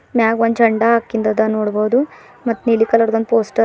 ಮ್ಯಾಗ್ ಒಂದು ಜಂಡ ಆಕಿಂದದ ನೋಡ್ಬೋದು ಮತ್ ನೀಲಿ ಕಲರ್ ಒಂದು ಪೋಸ್ಟರ್ --